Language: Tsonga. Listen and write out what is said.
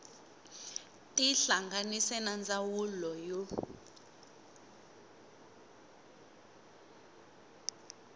tihlanganise na va ndzawulo ya